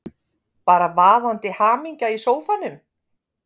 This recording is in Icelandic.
Bara vaðandi hamingja í sófanum!